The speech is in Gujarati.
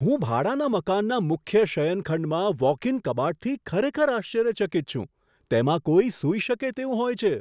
હું ભાડાના મકાનના મુખ્ય શયનખંડમાં વોક ઇન કબાટથી ખરેખર આશ્ચર્યચકિત છું, તેમાં કોઈ સૂઈ શકે તેવું હોય છે.